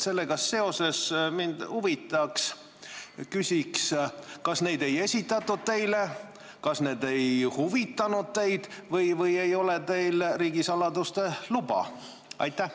Sellega seoses ma küsin: kas neid ei ole teile esitatud, kas need ei ole teid huvitanud või teil ei ole riigisaladuste luba?